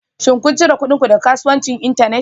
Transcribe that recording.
Shin kun cire kuɗin ku daga kasuwanci Internet?